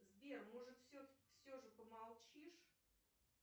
сбер может все же помолчишь